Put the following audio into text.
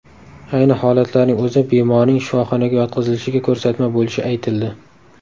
Ayni holatlarning o‘zi bemorning shifoxonaga yotqizilishiga ko‘rsatma bo‘lishi aytildi.